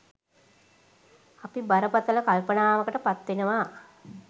අපි බරපතල කල්පනාවකට පත්වෙනවා.